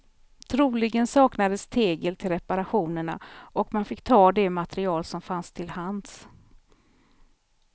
Troligen saknades tegel till reparationerna, och man fick ta det material som fanns till hands.